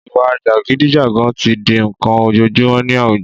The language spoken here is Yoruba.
Ìwà jàgídíjàgan tí di n'kan ojojúmọ́ ní àwùjọ